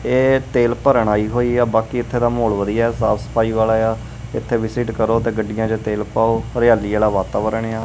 ਇਹ ਤੇਲ ਭਰਨ ਆਈ ਹੋਈ ਆ ਬਾਕੀ ਇਥੇ ਦਾ ਮਾਹੌਲ ਵਧੀਆ ਸਾਫ ਸਫਾਈ ਵਾਲਾ ਆ ਇਥੇ ਵਿਸਿਟ ਕਰੋ ਤੇ ਗੱਡੀਆਂ ਚ ਤੇਲ ਪਾਓ ਹਰਿਆਲੀ ਵਾਲਾ ਵਾਤਾਵਰਣ ਆ।